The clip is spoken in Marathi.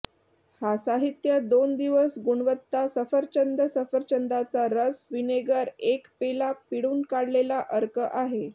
हा साहित्य दोन दिवस गुणवत्ता सफरचंद सफरचंदाचा रस व्हिनेगर एक पेला पिळून काढलेला अर्क आहे